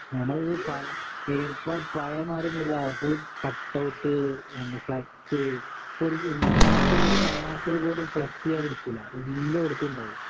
ഞമ്മടെ ഈ ഇപ്പം പഴയെ മാരിയൊന്നുമല്ല ഫുൾ കട്ട് ഔട്ട് ഫ്ലക്സ് ഇപ്പോ ഒരു നാട്ടിലും ഒരു നാട്ടില് പോലും ഫ്ലക്സ് ഇല്ലാതിരിക്കില്ല എല്ലാടത്തും ഉണ്ടാകും